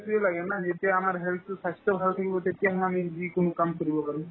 তোয়ে লাগে না সেইটোয়ে আমাৰ health তো স্ৱাস্থ্য ভাল থাকিব তেতিয়াহে আমি যিকোনো কাম কৰিব পাৰো